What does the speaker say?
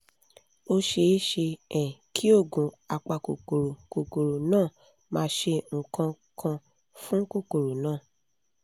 ó ṣeé ṣe um kí oògùn apakòkòrò kòkòrò náà má ṣe nǹkan kan fún kòkòrò náà